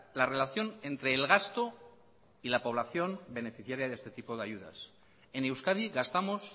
la relación entre el gasto y la población beneficiaria de este tipo de ayudas en euskadi gastamos